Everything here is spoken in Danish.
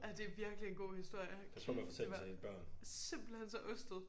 Ja de virkelig en god historie hold kæft det var simpelthen så ostet